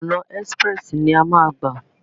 ọ̀nà ẹ́sprẹ̀sì ni a máa gbà.